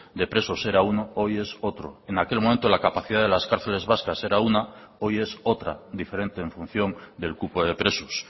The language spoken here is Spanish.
de presos era uno hoy es otro en aquel momento la capacidad de las cárceles vascas era una hoy es otra diferente en función del cupo de presos